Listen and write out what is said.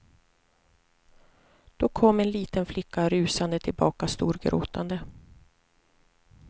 Då kom en liten flicka rusande tillbaka storgråtande.